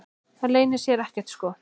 Það leynir sér ekkert sko.